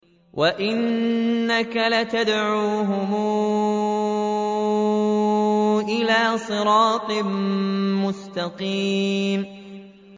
وَإِنَّكَ لَتَدْعُوهُمْ إِلَىٰ صِرَاطٍ مُّسْتَقِيمٍ